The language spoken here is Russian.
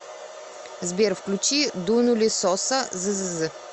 сбер включи дунули соса ззз